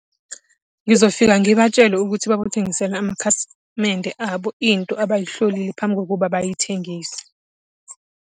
Ngizofika ngibatshele ukuthi amakhasimende abo, into abayihlolile phambi kokuba bayithengise.